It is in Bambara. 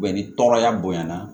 ni tɔɔrɔya bonyana